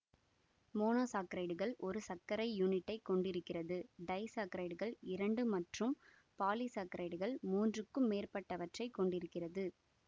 மோனோசாக்கரைடுகள் ஒரு சர்க்கரை யூனிட்டைக் கொண்டிருக்கிறது டைசாக்கரைடுகள் இரண்டு மற்றும் பாலிசாக்கரைடுகள் மூன்றுக்கும் மேற்பட்டவற்றைக் கொண்டிருக்கிறது